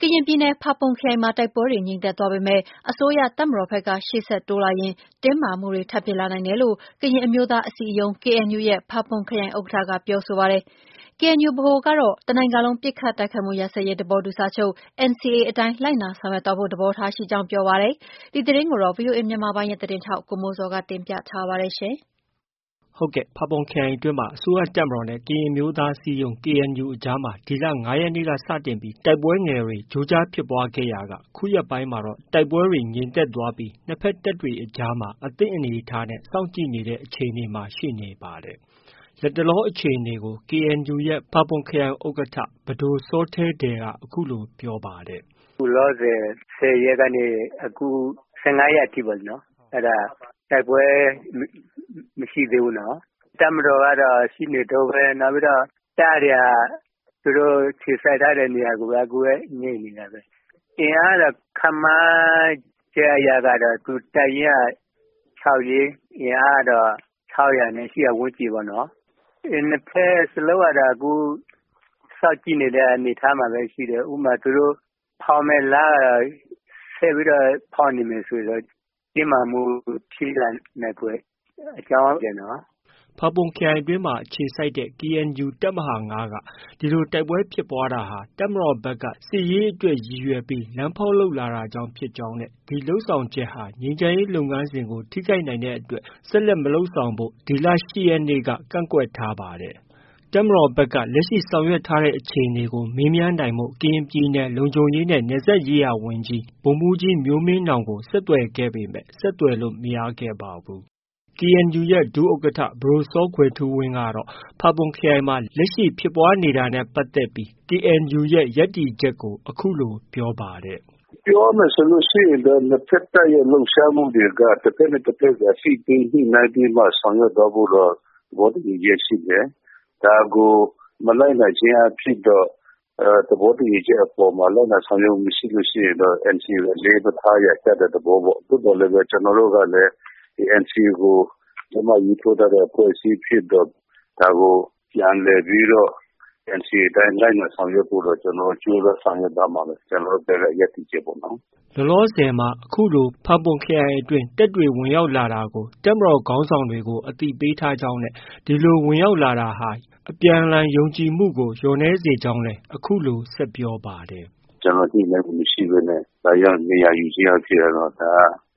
ကရင်ပြည်နယ် ဖာပွန်ခရိုင်မှာ တိုက်ပွဲတွေ ငြိမ်သက်သွားပေမဲ့ အစိုးရတပ်မတော်ဖက်က ရှေ့ဆက်တိုးလာရင် တင်းမာမှုတွေ ထပ်ဖြစ်လာနိုင်တယ်လို့ ကရင်အမျိုးသား အစည်းအရုံး KNU ရဲ့ ဖာပွန်ခရိုင်ဥက္ကဌက ပြောဆိုပါတယ်။ KNU ဗဟိုကတော့ တစ်နိုင်ငံလုံးပစ်ခတ်တိုက်ခိုက်မှုရပ်စဲရေးသဘောတူစာချုပ် NCA အတိုင်းလိုက်နာဆောင်ရွက်သွားဖို့ သဘောထားရှိကြောင်း ပြောပါတယ်။ ဒီသတင်းကိုတော့ ဗီအိုအေမြန်မာပိုင်းရဲ့သတင်းထောက် ကိုမိုးဇော်က တင်ပြထားပါတယ်။ ဟုတ်ကဲ့။ ဖာပွန်ခရိုင်အတွင်းမှာ အစိုးရတပ်မတော်နဲ့ ကရင်အမျိုးသားအစည်းအရုံး KNU အကြားမှာ ဒီလ ၅ရက်နေ့ကနေ စတင်ပြီး တိုက်ပွဲငယ်တွေ ကြိုးကြားဖြစ်ပွားခဲ့ ခုရက်ပိုင်းမှာ တိုက်ပွဲတွေ ငြိမ်သက်သွားပေမဲ့ နှစ်ဖက်တပ်တွေအကြားမှာ အသင့်အနေအထားနဲ့ စောင့်ကြည့်နေတဲ့အခြေအနေမှာ ရှိနေပါတယ်။ လတ်တလော အခြေအနေကို KNU ရဲ့ ဖာပွန်ခရိုင်ဥက္ကဌ ပဒိုစောထဲဒယ်က အခုလို ပြောပါတယ်။ “ အခုလောလောဆည် တိုက်ပွဲက ၁၀ရက်ကနေ ၁၅ရက်အထိ အဲဒါ တိုက်ပွဲ မရှိသေးဘူးနော်။ တပ်မတော်ကတော့ ရှိနေတုံးပဲ။ တပ်တွေက သူတို့ အခြေစိုက်ထားတဲ့နေရကိုပဲ အခုလည်း ငြိမ်နေတာပဲ။ အင်အားကတော့ ခန့်မှန်းခြေအရတော့ တပ်ရင်းက ၆ရင်း လူအင်အားကတော့ ၆၀၀နဲ့ ၈၀၀၀န်းကျင်ပေါ့နော်။ နှစ်ဖက်စလုံးကတော့ အခု စောင့်ကြည့်နေတဲ့အနေအထားမှာပဲ ရှိတယ်။ ဥပမာ သူတို့ ဖောက်မယ့်လမ်းကတော့ ဆက်ပြီးတော့ ဖောက်နေမယ်ဆို တင်းမာမှုဖြစ်လာနိုင်ဖွယ် အကြောင်း ရှိတယ်နော်။” ဖာပွန်ခရိုင်အတွင်းမှာ အခြေစိုက်တဲ့ KNU တပ်မဟာ ၅က ဒီလို တိုက်ပွဲဖြစ်ပွားတာဟာ တပ်မတော်ဖက်က စစ်ရေးအတွက် ရည်ရွယ်ပြီးလမ်းဖောက်လုပ်လာတာကြောင့်ဖြစ်ကြောင်းနဲ့ ဒီလုပ်ဆောင်ချက်ဟာ ငြိမ်းချမ်းရေးလုပ်ငန်းစဉ်ကို ထိခိုက်နိုင်တဲ့အတွက် ဆက်လက်မလုပ်ဆောင်ဖို့ ဒီလ ၈ရက်နေ့က ကန့်ကွက်ထားပါတယ်။ တပ်မတော်ဖက်က လက်ရှိဆောင်ရွက်ထားတဲ့အခြေအနေကို မေးမြန်းနိုင်ဖို့ ကရင်ပြည်နယ် လုံခြုံရေးနဲ့ နယ်စပ်ရေးရာဝန်ကြီး ဗိုလ်မှုးကြီးမျိုးမင်းနောင်ကို ဆက်သွယ်ခဲ့ပေမဲ့ ဆက်သွယ်လို့ မရခဲ့ပါဘူး။ KNU ရဲ့ ဒုဥက္ကဌ ပဒိုစောကွယ်ထူးဝင်းကတော့ ဖာပွန်ခရိုင်မှာ လက်ရှိဖြစ်ပွားနေ တာနဲ့ပတ်သက်ပြီး KNU ရဲ့ ရပ်တည်ချက်ကို အခုလို ပြောပါတယ်။ “ ပြောရမယ်ဆိုရင်တော့ နှစ်ဖက်တပ်ရဲ့ လှုပ်ရှားမှုတွေက တဖက်နဲ့တဖက်ကို အသိပေးညှိနှိုင်းပြီးမှ ဆောင်ရွက်သွားဖို့တော့ သဘောတူညီချက်ရှိတယ်။ ဒါကို မလိုက်နာခြင်းအားဖြင့်တော့ သဘောတူညီချက်အပေါ်မှာ လိုက်နာဆောင်ရွက်ခြင်း မရှိရင်တော့ NCA ကို အလေးမထားရာ ကျတဲ့သဘောပေါ့။ သို့သော်လည်းပဲ ကျနော်တို့ကလည်း NCA ကို လက်မှတ် ရေးထိုးထားတဲ့ အဖွဲ့အစည်းဖြစ်တော့ ဒါကို ပြန်လည်ပြီးတော့ NCA အတိုင်း လိုက်နာဆောင်ရွက်ဖို့တော့ ကျနော်တို့ ကြိုးစားသွားမှာပဲ။ ကျနော်တို့ဖက်က ရပ်တည်ချက်ပေ့ါနော်။ ” လောလောဆည်မှာတော့ အခုလို ဖာပွန်ခရိုင်အတွင်း တပ်တွေဝင်ရောက်လာတာကို တပ်မတော်ခေါင်းဆောင်တွေကို အသိပေးထားကြောင်းနဲ့ ဒီလို ဝင်ရောက်လာတာဟာ ယုံကြည်မှုကို လျော့နည်းစေကြောင်းလည်း အခုလို ဆက်ပြောပါတယ်။ “ ကျနော်တို့ ညှိနှိုင်းမှုမရှိဘဲနဲ့ လာရောက်နေရာယူခြင်းအားဖြင့် ဒါ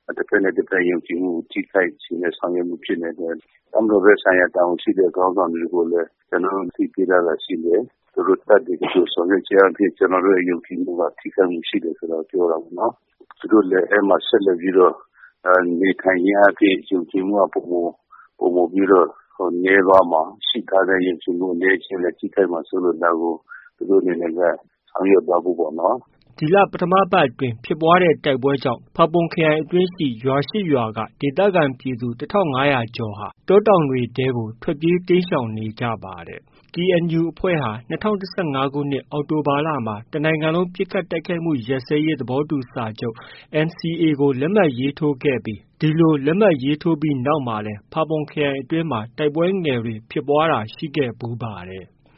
က တဖက်နဲ့ တဖက် ယုံကြည်မှုကို ထိခိုက်စေတဲ့ ဆောင်ရွက်ချက် ဖြစ်နေတယ်။ တပ်မတော်ဖက် ဆိုင်ရာ တာဝန်ရှိတဲ့ ခေါင်းဆောင်တွေကိုလည်း ကျနော်တို့ အသိပေးထားတာရှိတယ်။ သူတို့ တပ်တွေ ဒီလို ဆောင်ရွက်ခြင်းအားဖြင့် ကျနော်တို့ရဲ့ ယုံကြည်မှုက ထိခိုက်မှုရှိတယ်ဆိုတာကို ပြောတာပေါ့နော်။ သူတို့ အဲဒီမှာ ဆက်လက်နေထိုင်ခြင်းအားဖြင့် ယုံကြည်မှုက ပို မိုပြီးတော့ နည်းသွားမှာ။ ရှိထားတဲ့ ယုံကြည်အနည်းအကျဉ်းလည်း ထိခိုက်မှာစိုးလို့ ဒါကို သူတို့အနေနဲ့ ဆောင်ရွက်သွားဖို့ပေါ့နော်။ ” ဒီလ ပထမပတ်အတွင်းက ဖြစ်ပွားတဲ့တိုက်ပွဲကြောင့် ဖာပွန်ခရိုင်အတွင်းက ရွာ၈ရွာက ဒေသခံပြည်သူ ၁၅၀၀ကျော်ဟာ တောတောင်တွေထဲကို ထွက်ပြေး တိမ်းရှောင်နေရပါတယ်။ KNU အဖွဲ့ဟာ ၂၀၁၅ခုနှစ် အောက်တိုဘာလမှ တစ်နိုင်ငံလုံး ပစ်ခတ်တိုက်ခိုက်မှု ရပ်စဲရေးသဘောတူစာချုပ် NCA ကို လက်မှတ်ရေးထိုးခဲ့ပြီး ဒီလို လက်မှတ်ရေးထိုးပြီးနောက်မှာလည်း ဖာပွန်ခရိုင်အတွင်းမှာ တိုက်ပွဲငယ်တွေ ဖြစ်ပွားတာ ရှိခဲ့ဖူးပါတယ်။